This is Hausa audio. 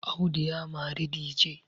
Audu ya mari dije